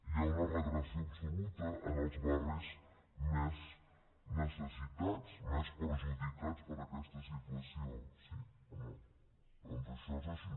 hi ha una regressió absoluta en els barris més necessitats més perjudicats per aquesta situació sí o no doncs això és així